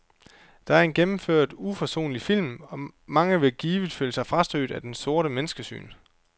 Det er en gennemført uforsonlig film, og mange vil givet føle sig frastødt af dens sorte menneskesyn.